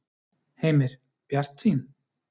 Heimir: Bjartsýn?